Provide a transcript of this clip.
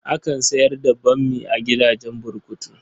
Akan sayar da bammi a gidajen burkutu.